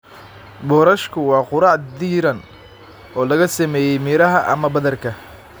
Boorashku waa quraac diirran oo laga sameeyay miraha ama badarka.